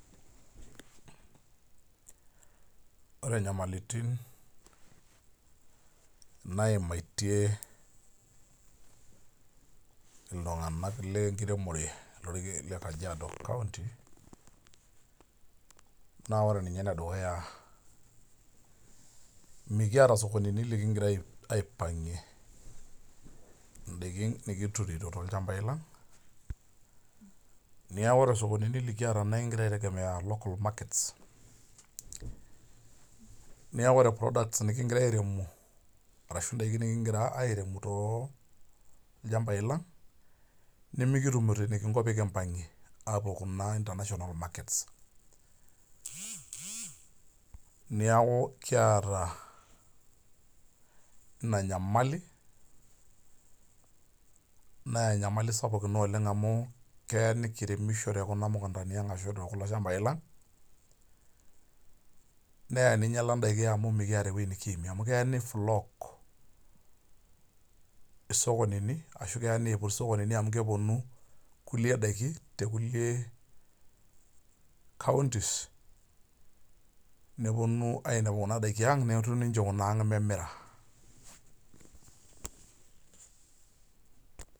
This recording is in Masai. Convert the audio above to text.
Ore nyamalitin naimatie iltung'anak lenkiremore le Kajiado county, naa ore ninye enedukuya mikiata sokonini likigira aipang'ie idaikin nikiturito tolchambai lang, neeku ore sokonini likiata na ekigira ai tegemea local markets, neeku ore products nikigira airemu arashu daiki nikigira airem tolchambai lang, nimikitumito enikinko pekimpang'ie apuo kuna international markets. Niaku kiata ina nyamali, nenyamali sapuk ina oleng amu kee nikiremisho tekuna mukuntani ang ashu tekulo shambai lang, nee ninyala daiki amu mikiata ewoi nikiimie amu kee ni flock isokonini, ashu kee niput isokonini amu keponu nkulie daiki tekulie counties, neponu ainepu kuna daiki ang, netoni nche kuna ang memira.